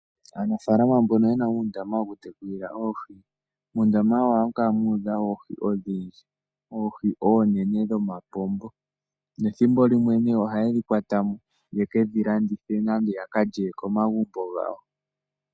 Aanafalama mboka yena undama woku tekulila oohi mundama wawo oha mukala mudha oohi, oohi onene dhomapongo nethimbo limwe ohadhi kwatamo yekedhi landithe nenge yakalye komagumbo ngawo.